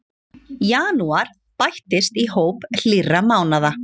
Janúar bættist í hóp hlýrra mánaða